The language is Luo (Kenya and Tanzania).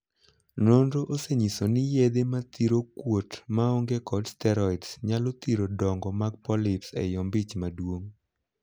Nonro osenyiso ni yedhe mathiro kuot ma onge kod 'steroid' nyalo thiro dongo mag 'polyps' ei ombich maduong'.